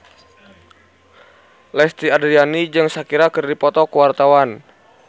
Lesti Andryani jeung Shakira keur dipoto ku wartawan